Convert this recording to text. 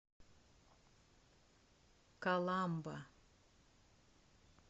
каламба